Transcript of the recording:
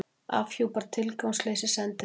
Afhjúpar tilgangsleysi sendiráða